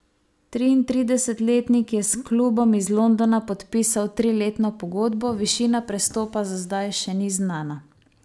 Triintridesetletnik je s klubom iz Londona podpisal triletno pogodbo, višina prestopa za zdaj še ni znana.